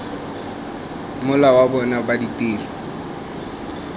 mola wa bona wa ditiro